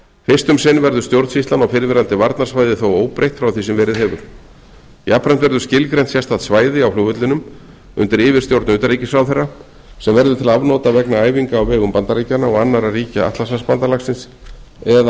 fyrst um sinn verður stjórnsýslan á fyrrverandi varnarsvæði þó óbreytt frá því sem verið hefur jafnframt verður skilgreint sérstakt svæði á flugvellinum undir yfirstjórn utanríkisráðherra sem verður til afnota vegna æfinga á vegum bandaríkjanna og annarra ríkja atlantshafsbandalagsins eða